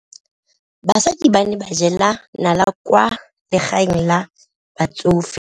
Basadi ba ne ba jela nala kwaa legaeng la batsofe.